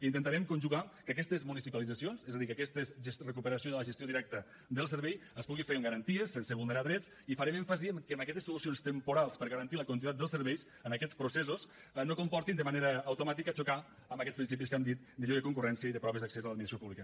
intentarem conjugar que aquestes municipalitzacions és a dir que aquesta recuperació de la gestió directa del servei es pugui fer amb garanties sense vulnerar drets i farem èmfasi que aquestes solucions temporals per a garantir la continuïtat del servei en aquests processos no comportin de manera automàtica xocar amb aquests principis que hem dit de lliure concurrència i de proves d’accés a l’administració pública